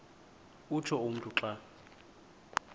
utsho umntu xa